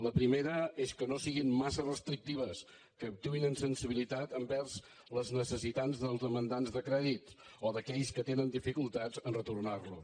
la primera és que no siguin massa restrictives que actuïn amb sensibilitat envers les necessitats dels demandants de crèdit o d’aquells que tenen dificultats a retornar los